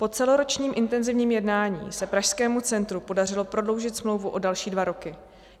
Po celoročním intenzivním jednání se Pražskému centru podařilo prodloužit smlouvu o další dva roky.